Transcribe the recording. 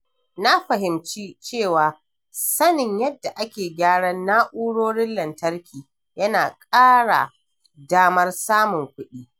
Na fahimci cewa sanin yadda ake gyaran na'urorin lantarki yana ƙara damar samun kuɗi.